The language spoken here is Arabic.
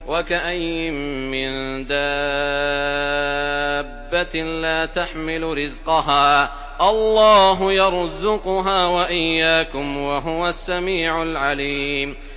وَكَأَيِّن مِّن دَابَّةٍ لَّا تَحْمِلُ رِزْقَهَا اللَّهُ يَرْزُقُهَا وَإِيَّاكُمْ ۚ وَهُوَ السَّمِيعُ الْعَلِيمُ